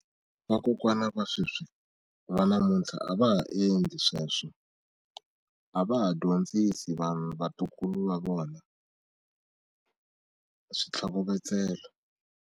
Vakokwana va sweswi va namuntlha a va ha endli sweswo a va ha dyondzisi vanhu vatukulu va vona switlhokovetselo.